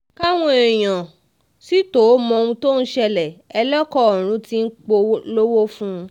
káwọn èèyàn sì tóó mọ ohun tó ń ṣẹlẹ̀ ẹlẹ́kọ ọ̀run tí ń polówó fún un